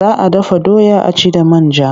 Za a dafa doya a ci da man ja.